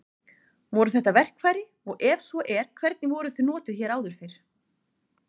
Voru þetta verkfæri og ef svo er hvernig voru þau notuð hér áður fyrr?